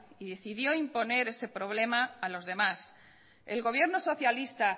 y decidió imponer ese problema a los demás el gobierno socialista